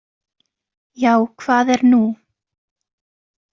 Já, hvað er nú?